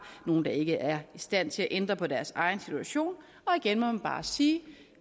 nogle der ikke er i stand til at ændre på deres egen situation og igen må man bare sige